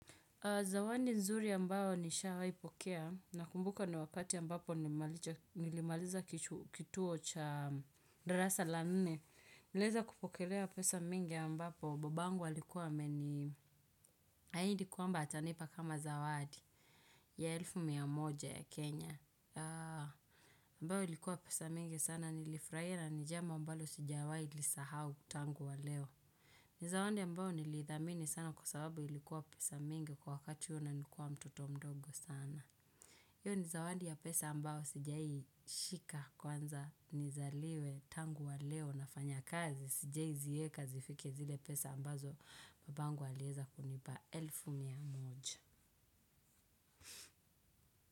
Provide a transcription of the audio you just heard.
Zawadi nzuri ambayo ni shawahi pokea na kumbuka ni wakati mbapo nilimaliza kituo cha darasa la nne. Niliweza kupokelea pesa mingi ambapo. Baba yangu alikuwa meni ahidi kwamba atanipa kama zawadi ya elfu mia moja ya Kenya. Ambayo ilikuwa pesa mingi sana nilifurahia na nijambo ambalo sijawai lisahau tangu wa leo. Nizawadi ambayo nilithamini sana kwa sababu ilikuwa pesa mingi kwa wakati huo na nikuwa mtoto mdogo sana. Hiyo nizawadi ya pesa ambayo sijawahi shika kwanza, nizaliwe tangu wa leo nafanya kazi, sijawai zieka zifike zile pesa ambazo baba yangu aliweza kunipa elfu mia moja.